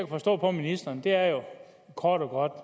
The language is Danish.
forstå på ministeren er jo kort og godt